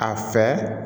A fɛ